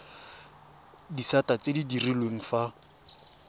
disata tse di direlwang fa